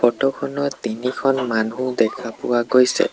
ফটোখনত তিনিখন মানুহ দেখা পোৱা গৈছে।